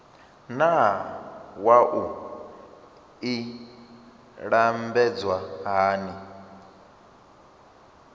naa wua i lambedzwa hani